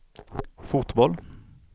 fotboll